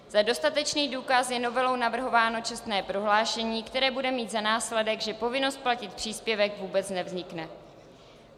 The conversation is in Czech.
Za dostatečný důkaz je novelou navrhováno čestné prohlášení, které bude mít za následek, že povinnost platit příspěvek vůbec nevznikne.